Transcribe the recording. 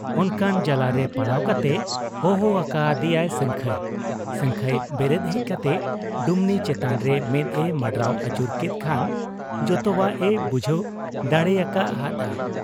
ᱚᱱᱠᱟᱱ ᱡᱟᱞᱟᱨᱮ ᱯᱟᱲᱟᱣ ᱠᱟᱛᱮ ᱦᱚᱦᱚ ᱟᱠᱟ ᱟᱫᱮᱭᱟᱭ ᱥᱟᱹᱝᱠᱷᱟᱹᱭ ᱾ ᱥᱟᱹᱝᱠᱷᱟᱹᱭ ᱵᱮᱨᱮᱫ ᱦᱮᱡ ᱠᱟᱛᱮ ᱰᱩᱢᱱᱤ ᱪᱮᱛᱟᱱ ᱨᱮ ᱢᱮᱫ ᱮ ᱢᱟᱸᱰᱨᱟᱣ ᱟᱹᱪᱩᱨ ᱠᱮᱫ ᱠᱷᱟᱱ ᱡᱛᱚᱣᱟᱜ ᱮ ᱵᱩᱡᱷᱟᱹᱣ ᱫᱟᱲᱮᱭᱟᱠᱟ ᱦᱟᱫ ᱟ ᱾